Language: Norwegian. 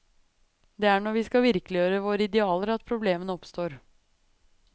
Det er når vi skal virkeliggjøre våre idealer at problemene oppstår.